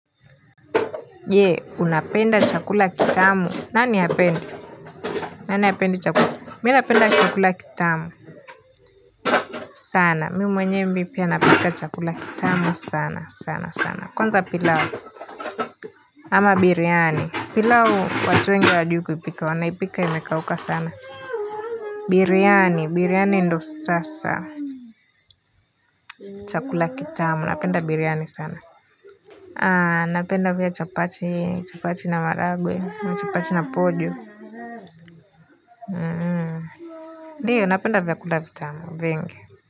Je, unapenda chakula kitamu nani hapendi nani hapendi chakula mimi ninapenda chakula kitamu sana mimi mwenyewe pia napika chakula kitamu sana sana sana kwanza pilau ama biriani pilau watu wengi hawajui kuipika wanaipika imekauka sana biryani biryani ndo sasa chakula kitamu ninapenda biriani sana napenda pia chapati chapati na maragwe chapati na pojo ndiyo, ninapenda vyakula vitamu, vingi.